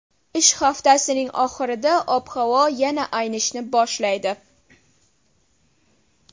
Ish haftasining oxirida ob-havo yana aynishni boshlaydi.